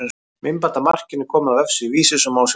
Myndband af markinu er komið á vefsíðu Vísis og má sjá hér.